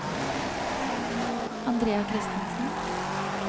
Andrea Kristensen